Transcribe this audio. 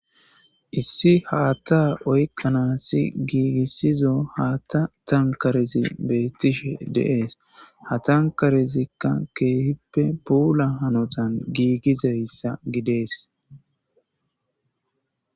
Issi haatta oykkanassi giigissizo haatta tankarezi beettishe deees ha tankarezikka keehippe puula hanotan giigizeyssa gidees